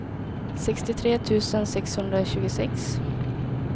sextiotre tusen sexhundratjugosex